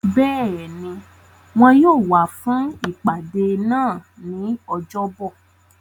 Béèni, Wọn yóò wá fún ìpàdé náà ní ọjọ́ bọ̀.